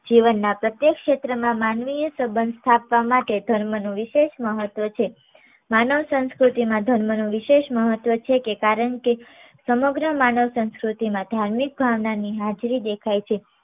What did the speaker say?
જીવનના પ્રત્યેક ક્ષેત્ર મા માનવીય સંબંધ સ્થાપવા માટે ધર્મનો વિશેષ મહત્વ છે. માનવ સંસ્કૃતિમાં ધર્મ નો વિશેષ મહત્વ છે કારણ કે સમગ્ર માનવ સંસ્કૃતિમાં ધાર્મિક ભાવનાની હાજરી દેખાય છે.